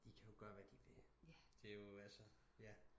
De kan jo gøre hvad de vil det er jo altså